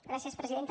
gràcies presidenta